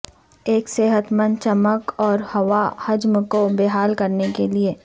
ایک صحت مند چمک اور ہوا حجم کو بحال کرنے کے لئے